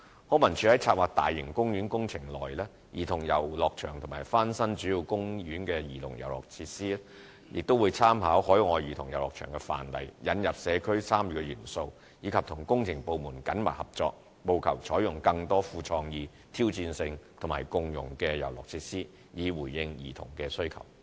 康文署在策劃大型公園工程內的兒童遊樂場和翻新主要公園的兒童遊樂場設施時，會參考海外兒童遊樂場的範例、引入社區參與元素，以及與工程部門緊密合作，務求採用更多富創意、挑戰性及共融的遊樂設施，以回應兒童需求。